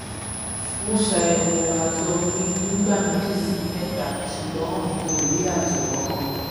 mo ṣayẹwo àtọ mi nígbà méjì sí mẹta ṣùgbọn n kò rí àtọ kankan